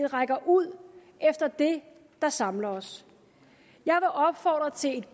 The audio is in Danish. rækker ud efter det der samler os jeg vil opfordre til